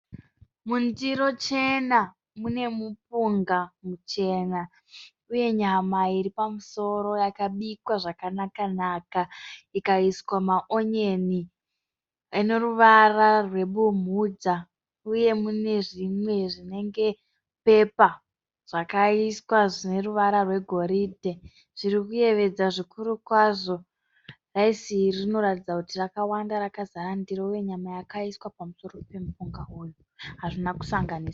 Mundiro chena mune mupunga muchena uye nyama iri pamusoro yakabikwa zvakanaka-naka ikaiswa maonyeni ane ruvara rwebumhudza. Uye mune zvimwe zvinenge pepa zvakaiswa zvine ruvara rwegoridhe zviri kuyevedza zvikuru kwazvo. Raisi iri rinoratidza kuti rakawanda rakazara ndiro uye nyama yakaiswa pamusoro pemupunga uyu hazvina kusanganiswa.